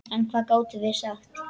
En hvað gátum við sagt?